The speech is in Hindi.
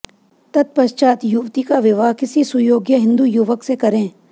तत्पश्चात युवती का विवाह किसी सुयोग्य हिन्दू युवक से करें